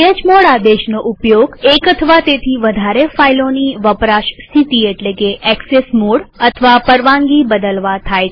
chmod આદેશનો ઉપયોગ એક અથવા તેથી વધારે ફાઈલોની વપરાશ સ્થિતિ એટલે કે એક્સેસ મોડ અથવા પરવાનગી બદલવા થાય છે